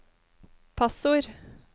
passord